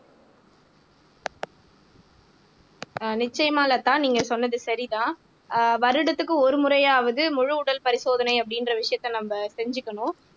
ஆஹ் நிச்சயமா லதா நீங்க சொன்னது சரிதான் ஆஹ் வருடத்துக்கு ஒரு முறையாவது முழு உடல் பரிசோதனை அப்படின்ற விஷயத்த நம்ம செஞ்சுக்கணும்